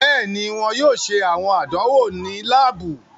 Bẹẹni, wọn yoo ṣe awọn àdánwò ni laabu